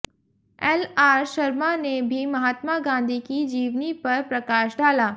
LR Sharma ने भी महात्मा गांधी की जीवनी पर प्रकाश डाला